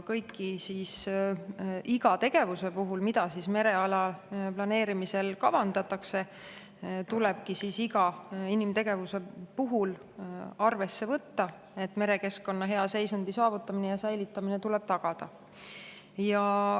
Iga inimtegevuse puhul, mida mereala planeerimisel kavandatakse, tulebki arvesse võtta, et merekeskkonna hea seisundi saavutamine ja säilitamine tuleb tagada.